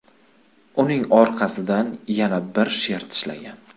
Uning orqasidan yana bir sher tishlagan.